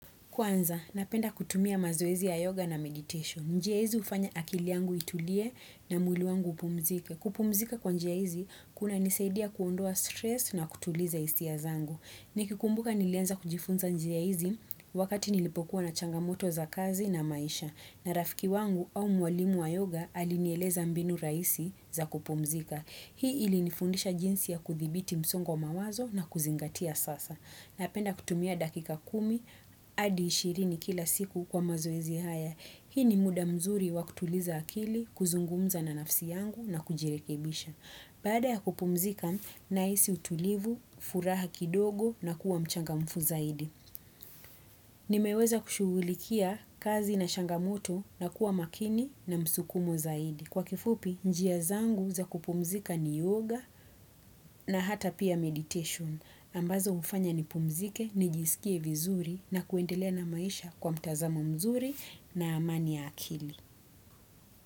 Kwanza, napenda kutumia mazoezi ya yoga na meditation. Njia izi ufanya akiliangu itulie na mwili wangu upumzike. Kupumzika kwa njiaizi, kuna nisaidia kuondoa stress na kutuliza isi ya zangu. Niki kumbuka nilianza kujifunza njiaizi wakati nilipokuwa na changamoto za kazi na maisha. Na rafiki wangu au mwalimu wa yoga alinieleza mbinu raisi za kupumzika. Hii ili nifundisha jinsi ya kuthibiti msongo mawazo na kuzingatia sasa. Na penda kutumia dakika kumi, adi ishirini kila siku kwa mazoezi haya. Hii ni muda mzuri wakutuliza akili, kuzungumza na nafsi yangu na kujirekebisha. Bada ya kupumzika, naisi utulivu, furaha kidogo na kuwa mchanga mfu zaidi. Nimeweza kushulikia kazi na shangamoto na kuwa makini na msukumo zaidi. Kwa kifupi, njia zangu za kupumzika ni yoga na hata pia meditation. Ambazo ufanya ni pumzike, nijisikie vizuri na kuendelea na maisha kwa mtazamo mzuri na amani ya akili.